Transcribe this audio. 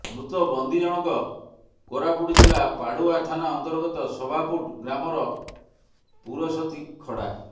ମୃତ ବନ୍ଦୀ ଜଣକ କୋରାପୁଟ ଜିଲ୍ଲା ପାଡୁଆ ଥାନା ଅନ୍ତର୍ଗତ ସଭାପୁଟ ଗ୍ରାମର ପୁରସତୀ ଖଡା